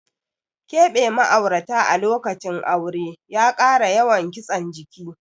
Keɓe ma'aurata a lokacin aure ya kara yawan kitsen jiki.